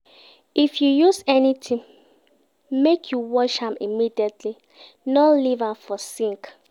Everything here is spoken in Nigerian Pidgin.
If you use anytin, make you wash am immediately, no leave am for sink.